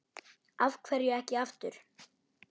Af hverju ekki aftur?